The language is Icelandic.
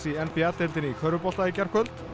n b a deildinni í körfubolta í gærkvöld